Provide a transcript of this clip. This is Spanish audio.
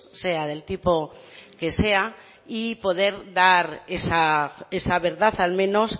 sea del tipo que sea y poder dar esa verdad al menos